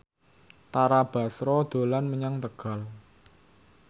Tara Basro dolan menyang Tegal